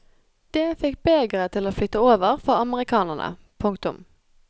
Det fikk begeret til å flyte over for amerikanerne. punktum